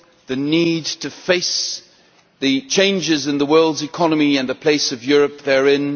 the need to face the changes in the world's economy and the place of Europe therein